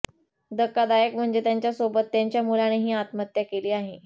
धक्कादायक म्हणजे त्यांच्यासोबत त्यांच्या मुलानेही आत्महत्या केली आहे